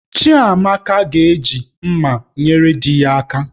Chiamaka ga-eji mmá nyere di ya aka